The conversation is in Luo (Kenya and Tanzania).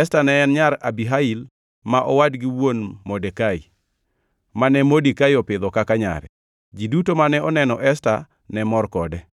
Esta ne en nyar Abihail, ma owadgi wuon Modekai, mane Modekai opidho kaka nyare. Ji duto mane oneno Esta ne mor kode.